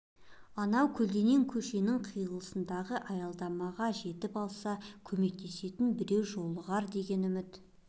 анау көлденең көшенің қиылысындағы аялдамаға жетіп алса көмектесетн бреу жолығар деген үмт